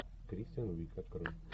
кристен уиг открой